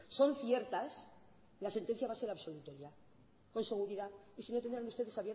son ciertas la sentencia va a ser absolutoria con seguridad y si no tendrían ustedes